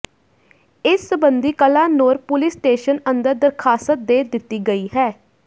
ਇਸ ਸਬੰਧੀ Kalanaur police station ਅੰਦਰ ਦਰਖਾਸਤ ਦੇ ਦਿੱਤੀ ਗਈ ਹੈ